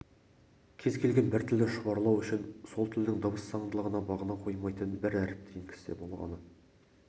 кез келген бір тілді шұбарлау үшін сол тілдің дыбыс заңдылығына бағына қоймаған бір әріпті енгізсе болғаны